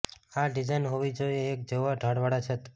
આ ડિઝાઇન હોવી જોઇએ એક જેવા ઢાળવાળા છત